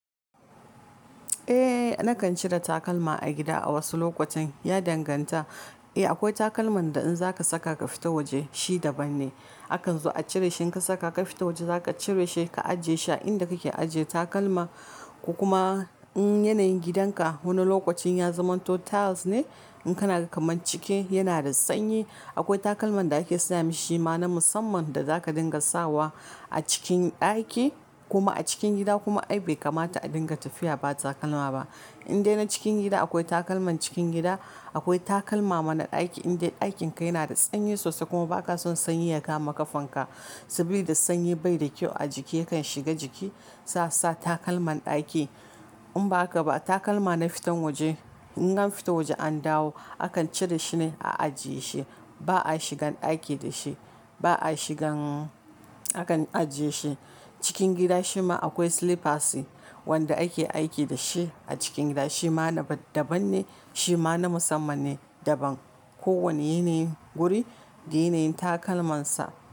Eh nakan cire takalma a gida a wasu lokutan ya danganta. Eh akwai takalman da in zaka saka ka fita waje shi daban ne, akan zo a cire shi in ka saka ka fita waje zaka cire shi ka ajiye shi a inda kake ajiye takalma. Ko kuma in yanayin gidanka wani lokacin ya zamanto tiles ne in kana ga kaman ciki yana da sanyi akwai takalman da mashi shi ma na musamman da zaka dinga sawa a cikin ɗaki kuma a cikin gida kuma ai bai kamata a dinga tafiya ba takalma ba. In dai na cikin gida akwai takalman cikin gida, akwai takalma ma na ɗaki in dai ɗakinka yana da sanyi sosai kuma ba ka son sanyi ya kama kafanka saboda sanyi bai da kyau a jiki yakan shiga jiki sai a sa takalman ɗaki. In ba haka ba takalma na fitan waje in an fita waje an dawo akan cire shi ne a ajiye shi, ba a shigan ɗaki da shi, ba a shigan, akan ajiye shi. Cikin gida shima akwai slippers wanda ake aiki da shi a cikin gida shi ma daban ne shi ma na musamman ne daban. Ko wanne yanayin guri, da yanayin takalmansa.